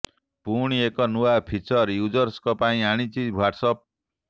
ପୁଣି ଏକ ନୂଆ ଫିଚର ୟୁଜରଙ୍କ ପାଇଁ ଆଣିଛି ହ୍ୱାଟ୍ସଆପ୍